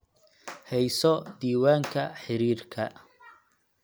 Hayso diiwaanka xidhiidhka